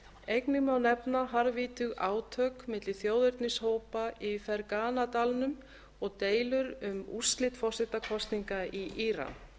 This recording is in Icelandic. einnig má nefna harðvítug átök milli þjóðernishópa í fergana dalnum og deilur um úrslit forsetakosninga í íran